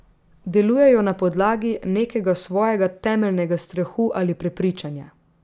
Delujejo na podlagi nekega svojega temeljnega strahu ali prepričanja.